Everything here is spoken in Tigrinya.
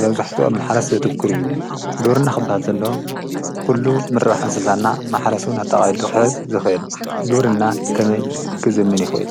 በብዙሕቱ ኣብ ማሕረስ ዘትክር እዩ ግብርና ኽበሃልተሎ ኲሉ ምርባሕ እንሰሳና ማሓረስውን ኣተቓሉኽሕዝ ዝኅየኑ ግብርና ከመይ ክዘምን ይዄየል::